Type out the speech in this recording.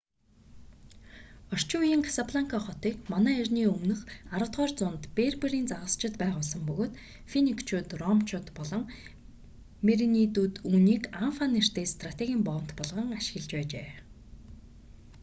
орчин үеийн касабланка хотыг мэө 10-р зуунд берберийн загасчид байгуулсан бөгөөд финикчууд ромчууд болон меренидүүд үүнийг анфа нэртэй стратегийн боомт болгон ашиглаж байжээ